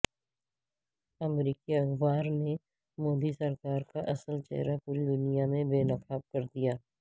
امریکی اخبار نے مودی سرکار کا اصل چہرہ پوری دنیا میں بے نقاب کر دیا